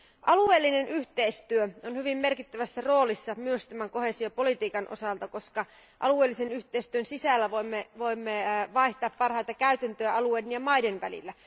Alueellinen yhteistyö on hyvin merkittävässä roolissa myös tämän koheesiopolitiikan osalta, koska alueellisen yhteistyön sisällä voimme vaihtaa parhaita käytäntöjä alueiden ja maiden välillä.